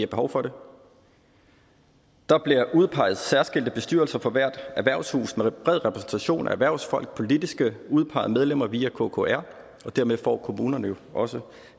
behov for det der bliver udpeget særskilte bestyrelser for hvert erhvervshus med bred repræsentation af erhvervsfolk og politisk udpegede medlemmer via kkr og dermed får kommunerne jo også